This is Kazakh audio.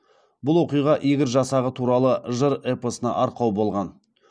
бұл оқиға игорь жасағы туралы жыр эпосына арқау болған